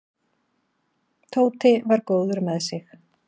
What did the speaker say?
Tóti var góður með sig.